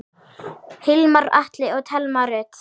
Hilmar Atli og Thelma Rut.